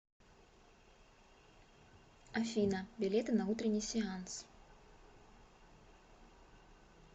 афина билеты на утренний сеанс